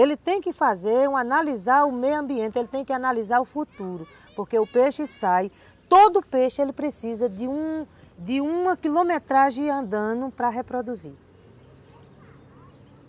Ele tem que fazer, analisar o meio ambiente, ele tem que analisar o futuro, porque o peixe sai, todo peixe ele precisa de um uma quilometragem andando para reproduzir.